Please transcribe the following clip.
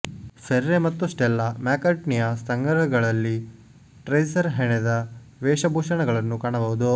Ferre ಮತ್ತು Stella ಮ್ಯಾಕ್ಕರ್ಟ್ನಿಯ ಸಂಗ್ರಹಗಳಲ್ಲಿ ಟ್ರೇಸರ್ ಹೆಣೆದ ವೇಷಭೂಷಣಗಳನ್ನು ಕಾಣಬಹುದು